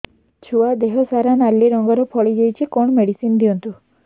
ଛୁଆ ଦେହ ସାରା ନାଲି ରଙ୍ଗର ଫଳି ଯାଇଛି କଣ ମେଡିସିନ ଦିଅନ୍ତୁ